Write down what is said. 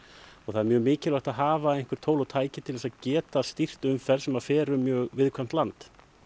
og það er mjög mikilvægt að hafa tól og tæki til að geta stýrt umferð sem fer um mjög viðkvæmt land